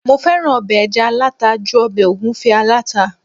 mo fẹràn obe eja alata ju obe ogunfe alata